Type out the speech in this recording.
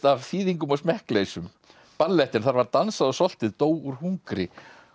af þýðingum og smekkleysum ballettinn þar var dansað og soltið dó úr hungri